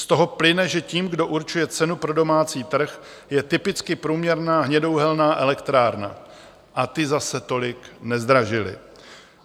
Z toho plyne, že tím, kdo určuje cenu pro domácí trh, je typicky průměrná hnědouhelná elektrárna, a ty zase tolik nezdražily.